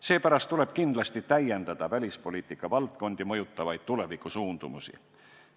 Seepärast tuleb kindlasti täiendada välispoliitika valdkondi mõjutavaid tulevikusuundumusi.